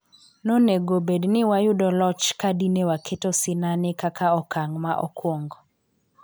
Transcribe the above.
no nego bedni wayudo loch kadine waketo sinani kaka okang ma okuongo